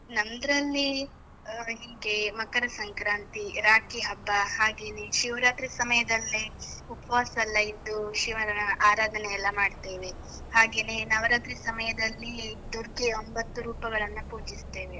ನಮ್ದ್ರಲ್ಲಿ ಹೀಗೆ ಮಕರ ಸಂಕ್ರಾಂತಿ, ರಾಖಿ ಹಬ್ಬ, ಹಾಗೇನೇ ಶಿವರಾತ್ರಿ ಸಮಯದಲ್ಲಿ ಉಪ್ವಾಸ ಎಲ್ಲ ಇದ್ದು, ಶಿವನ ಆರಾಧನೆ ಎಲ್ಲ ಮಾಡ್ತೇವೆ, ಹಾಗೇನೇ ನವರಾತ್ರಿ ಸಮಯದಲ್ಲಿ ದುರ್ಗೆಯ ಒಂಬತ್ತು ರೂಪಗಳನ್ನ ಪೂಜಿಸ್ತೇವೆ.